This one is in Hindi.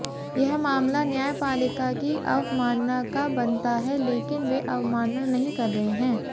यह मामला न्यायपालिका की अवमानना का बनता है लेकिन वे अवमानना नही कर रहे हैं